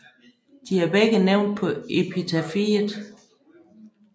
De er begge nævnt på epitafiet